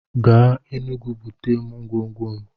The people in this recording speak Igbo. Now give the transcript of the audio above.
Gaa Enugwu bute ngwongwo m!